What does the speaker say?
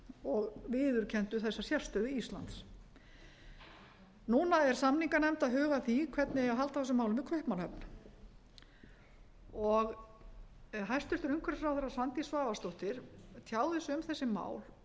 og viðurkenndu þessa sérstöðu íslands núna er samninganefnd að huga að því hvernig eigi að halda á þessum málum í kaupmannahöfn hæstvirtur umhverfisráðherra svandís svavarsdóttir tjáði sig um þessi mál loftslagsmálin